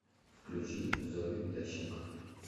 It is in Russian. включи зою ященко